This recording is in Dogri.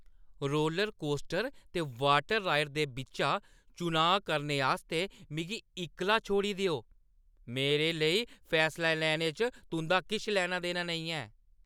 रोलरकोस्टर ते वाटर राइड दे बिच्चा चुनांऽ करने आस्तै मिगी इक्कला छोड़ी देओ, मेरे लेई फैसला लैने च तुं'दा किश लैना-देना नेईं ऐ।